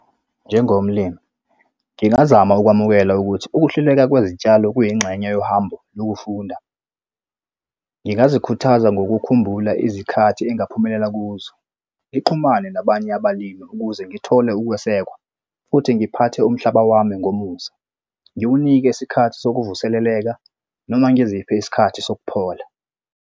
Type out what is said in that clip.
Njengomlimi, ngingazama ukwamukela ukuthi ukuhluleka kwezitshalo kuyingxenye yohambo lokufunda. Ngingazikhuthaza ngokukhumbula izikhathi engaphumelela kuzo. Ngixhumane nabanye abalimi ukuze ngithole ukwesekwa, futhi ngiphathe umhlaba wami ngomusa. Ngiwunike isikhathi sokuvuseleleka noma ngiziphe isikhathi sokuphola.